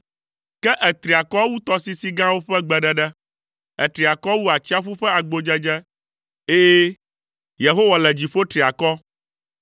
Ke ètri akɔ wu tɔsisi gãwo ƒe gbeɖeɖe, ètri akɔ wu atsiaƒu ƒe agbodzedze, ɛ̃, Yehowa le dziƒo tri akɔ.